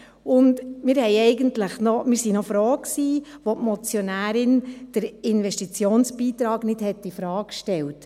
Wir waren eigentlich froh, dass die Motionärin den Investitionsbeitrag nicht infrage stellte.